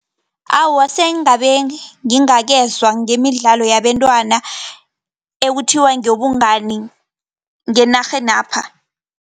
Awa, sengabe ngingakezwa ngemidlalo yabentwana ekuthiwa ngewobungani ngenarhenapha.